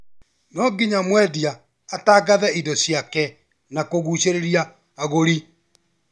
No nginya mwendia atangathe indo ciake na kũgucĩrĩria agũri